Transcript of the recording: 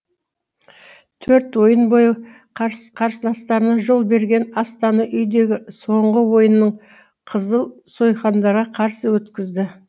төрт ойын бойы қарсыластарына жол берген астана үйдегі соңғы ойынын қызыл сойқандарға қарсы өткізді